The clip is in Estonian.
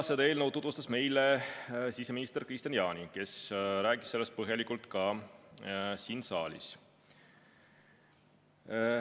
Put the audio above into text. Seda eelnõu tutvustas meile siseminister Kristian Jaani, kes rääkis sellest põhjalikult ka siin saalis.